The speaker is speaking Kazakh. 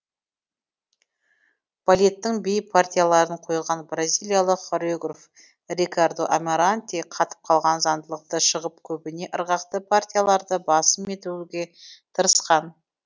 балеттің би партияларын қойған бразилиялық хореограф рикардо амаранте қатып қалған заңдылықтан шығып көбіне ырғақты партияларды басым етуге тырысқан